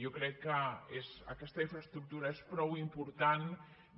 jo crec que aquesta infraestructura és prou important